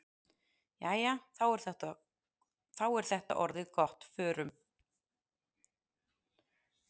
Jæja, þá er þetta orðið gott. Förum.